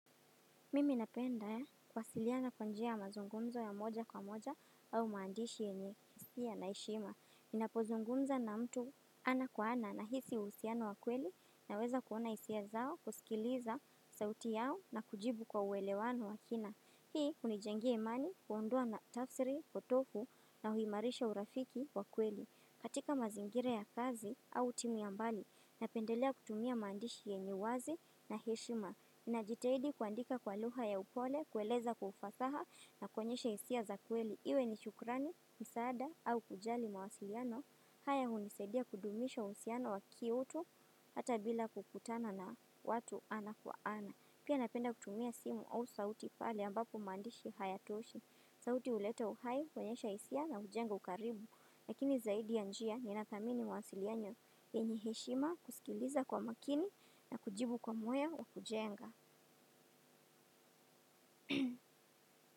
Mimi napenda kwasiliana kwa njia mazungumzo ya moja kwa moja au maandishi enye kisipia na eshima. Ninapozungumza na mtu ana kwa ana na hisi usiano wa kweli na weza kuona isia zao kusikiliza sauti yao na kujibu kwa uwelewano wa kina. Hii unijengea imani kuondua na tafsiri, potofu na huimarisha urafiki wa kweli. Katika mazingire ya kazi au timu ya mbali napendelea kutumia maandishi yenye uwazi na eshima. Nina jitaidi kuandika kwa luha ya upole, kueleza kufasaha na kwenyesha isia za kweli. Iwe ni shukrani, misada au kujali mawasiliano. Haya hunisaidia kudumisha uhusiano wa kiutu hata bila kukutana na watu ana kwa ana. Pia napenda kutumia simu au sauti pale ambapo mandishi haya toshi. Sauti uleta uhai, kwenyesha isia na ujenga ukaribu. Lakini zaidi ya njia ni natamini mwasilianyo. Penye heshima kusikiliza kwa makini na kujibu kwa moyo wa kujenga.